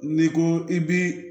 N'i ko i bi